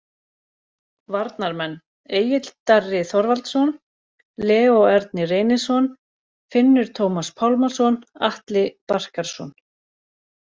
Varnarmenn: Egill Darri Þorvaldsson, Leó Ernir Reynisson, Finnur Tómas Pálmason, Atli Barkarson